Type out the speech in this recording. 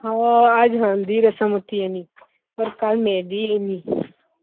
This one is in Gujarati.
હા આજ હલ્દી રસમ હતી એની અને કાલ મેહંદી હૈ એની